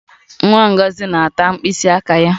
Nwa Ngozi na-ata mkpịsị aka ya